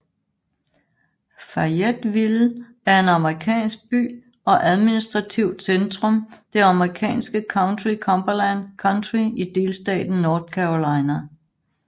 Fayetteville er en amerikansk by og administrativt centrum det amerikanske county Cumberland County i delstaten North Carolina